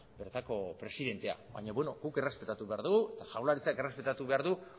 bertako presidentea baina beno guk errespetatu behar dugu eta jaurlaritzak errespetatu behar du